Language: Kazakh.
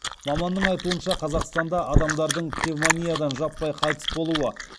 маманның айтуынша қазақстанда адамдардың пневмониядан жаппай қайтыс болуы